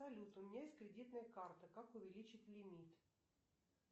салют у меня есть кредитная карта как увеличить лимит